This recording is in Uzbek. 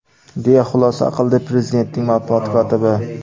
deya xulosa qildi Prezidentning matbuot kotibi.